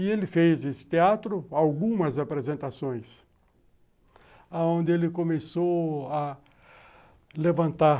E ele fez esse teatro, algumas apresentações, onde ele começou a levantar